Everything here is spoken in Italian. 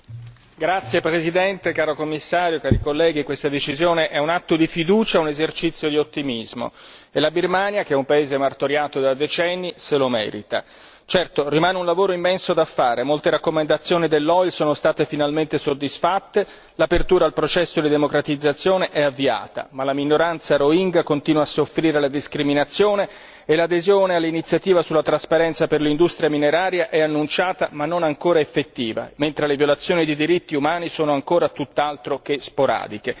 Signor Presidente, onorevoli colleghi, signor Commissario, questa decisione è un atto di fiducia, un esercizio di ottimismo e la Birmania, che è un paese martoriato da decenni, se lo merita. Certo, rimane un lavoro immenso da fare molte raccomandazioni dell'OIL sono state finalmente soddisfatte, l'apertura al processo di democratizzazione è avviata, ma la minoranza rohingya continua a soffrire la discriminazione e l'adesione all'iniziativa sulla trasparenza per l'industria mineraria è annunciata, ma non ancora effettiva, mentre le violazioni dei diritti umani sono ancora tutt'altro che sporadiche.